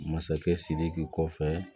Masakɛ sidiki kɔfɛ